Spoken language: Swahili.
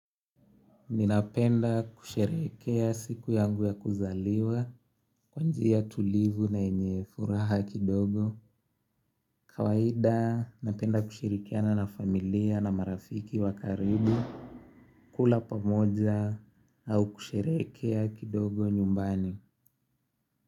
Ninapenda kusherehekea siku yangu ya kuzaliwa kwa njia tulivu na yenye furaha kidogo. Kawaida, napenda kushirikiana na familia na marafiki wa karibu. Kula pamoja au kusherehekea kidogo nyumbani.